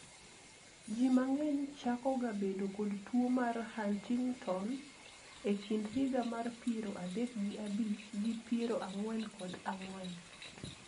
jii mang'eny chako ga bedo kod tuo mar Huntington e kind higa mar piero adek gi abich gi piero ang'wen kod ang'wen